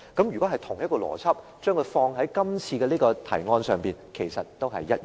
如果將同一個邏輯放在今次的提案上，其實也是一樣的。